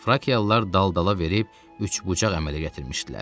Frakialılar dal-dala verib üçbucaq əmələ gətirmişdilər.